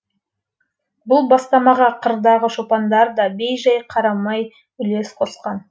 бұл бастамаға қырдағы шопандар да бей жай қарамай үлес қосқан